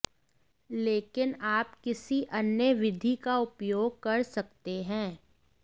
लेकिन आप किसी अन्य विधि का उपयोग कर सकते हैं